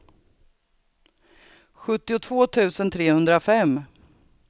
sjuttiotvå tusen trehundrafem